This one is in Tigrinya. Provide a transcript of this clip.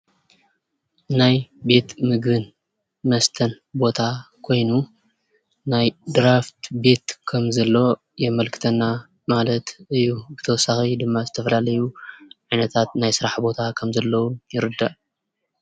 ናይ ቤት ምግብን መስተን ቦታ ኾይኑ ናይ ድራፍት ቤት ከም ዘለዎ ከም ዘለዎ የመልክተና ማለት እዩ፡፡ ብተወሳኺ ድማ ናይ ዝተፈላለዩ ዓይነታት ስራሕ ቦታ ከም ዘለዉ ይርዳእ፡፡